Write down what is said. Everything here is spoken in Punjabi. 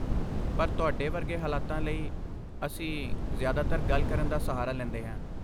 ਪਰ ਤੁਹਾਡੇ ਵਰਗੇ ਹਾਲਾਤਾਂ ਲਈ, ਅਸੀਂ ਜ਼ਿਆਦਾਤਰ ਗੱਲ ਕਰਨ ਦਾ ਸਹਾਰਾ ਲੈਂਦੇ ਹਾਂ।